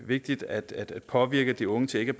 vigtigt at påvirke de unge til ikke